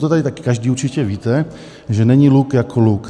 To tady taky každý určitě víte, že není luk jako luk.